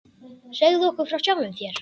Segðu okkur frá sjálfum þér.